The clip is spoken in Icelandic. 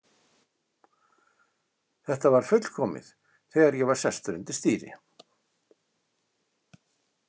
Þetta var fullkomið þegar ég var sestur undir stýri.